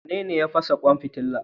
Wanene ya fashe kwan fitila?